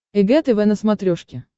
эг тв на смотрешке